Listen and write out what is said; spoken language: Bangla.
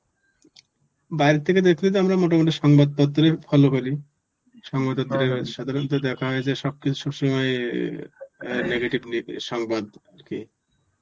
বাইরের থেকে দেখতে দেখতে আমরা মোটামুটি সংবাদপত্রে follow করি. সংবাদপত্রে দেখা হয়েছে. সাধারণত দেখা হয়েছে সব কিছু সব সময় আঁ negative নিয়ে সংবাদ কে